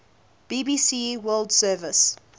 bbc world service